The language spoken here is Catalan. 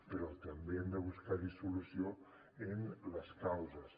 però també hem de buscar hi solució en les causes